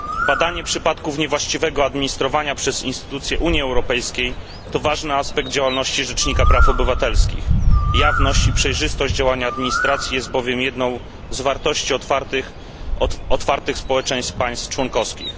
Badanie przypadków niewłaściwego administrowania przez instytucje Unii Europejskiej to ważny aspekt działalności Rzecznika Praw Obywatelskich, jawność i przejrzystość działania administracji jest bowiem jedną z wartości otwartych społeczeństw państw członkowskich.